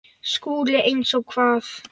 SKÚLI: Eins og hvað?